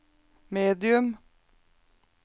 medium